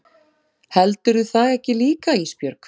Heldurðu það ekki líka Ísbjörg?